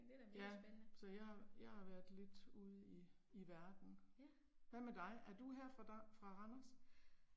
Ja. Så jeg har, jeg har været lidt ude i i verden. Hvad med dig er du her fra fra Randers?